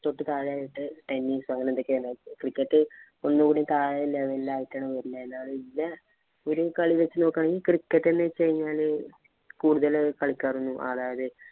തൊട്ട് താഴെയായിട്ട് tennis അങ്ങനെ എന്തൊക്കെയോ ആണ്. Cricket ഒന്ന് കൂടി താഴെ level ആയിട്ടാണ് വരുന്നത്. എന്നാലും ഒരു കളി വച്ചു നോക്കുകയാണെങ്കില്‍ cricket എന്ന് വച്ച് കഴിഞ്ഞാല് കൂടുതല്‍ കളിക്കാരും,